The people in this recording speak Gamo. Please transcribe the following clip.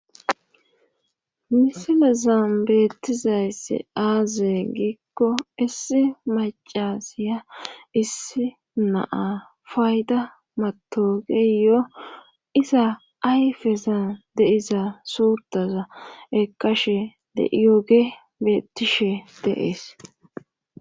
Misilezan beettizayssi aaze giikko issi macasiya issi naa fayda matoogeyo iza ayfezan deiza suurtaza ekashe de7iyooge bettishe deees